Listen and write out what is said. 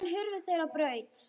Síðan hurfu þeir á braut.